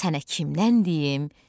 sənə kimdən deyim?